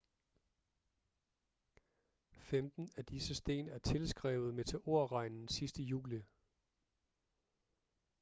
femten af disse sten er tilskrevet meteorregnen sidste juli